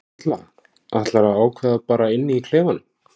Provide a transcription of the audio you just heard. Erla: Ætlarðu að ákveða bara inni í klefanum?